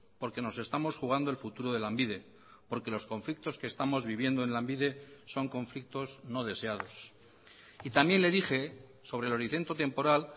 porque nos estamos jugando el futuro de lanbide porque los conflictos que estamos viviendo en lanbide son conflictos no deseados y también le dije sobre el horizonte temporal